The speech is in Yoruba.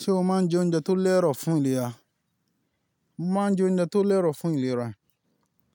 Ṣé o máa ń jẹ oúnjẹ tó lẹ́rọ̀ fún ìlera? Mo máa ń jẹ oúnjẹ tó lẹ́rọ̀ fún ìlera,